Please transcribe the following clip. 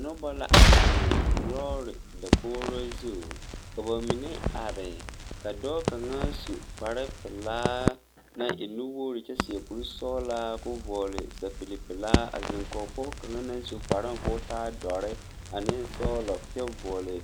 Nobɔ la a zeŋ lɔɔre dakogro zu ka ba mine are ka dɔɔ kaŋa su kpare pelaa naŋ e nuwogre kyɛ seɛ kurisɔglaa koo vɔɔle sɛpile pelaa zeŋ kɔge pɔɔ kaŋa naŋ su kparoŋ ko taa dɔre ane sɔglɔ kyɛ vɔɔle